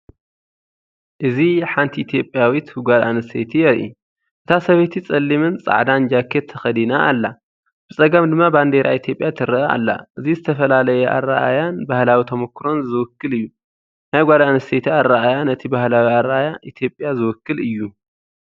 እዚ ሓንቲ ኢትዮጵያዊት ጓል ኣንስተይቲ የርኢ። እታ ሰበይቲ ጸሊምን ጻዕዳን ጃኬት ተኸዲና ኣላ። ብጸጋም ድማ ባንዴራ ኢትዮጵያ ትረአ ኣላ። እዚ ዝተፈላለየ ኣረኣእያን ባህላዊ ተመኩሮን ዝውክል እዩ። ናይ ጓል ኣንስተይቲ ኣረኣእያ ነቲ ባህላዊ ኣረኣእያ ኢትዮጵያ ዝውክል እዩ።